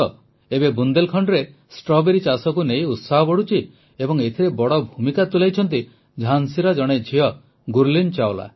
ଏବେ ବୁନ୍ଦେଲଖଣ୍ଡରେ ଷ୍ଟ୍ରବେରୀ ଚାଷକୁ ନେଇ ଉତ୍ସାହ ବଢ଼ୁଛି ଏବଂ ଏଥିରେ ବଡ଼ ଭୂମିକା ତୁଲାଇଛନ୍ତି ଝାନ୍ସୀର ଜଣେ ଝିଅ ଗୁର୍ଲୀନ ଚାୱଲା